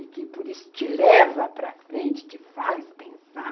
e que por isso te leva para frente, te faz pensar.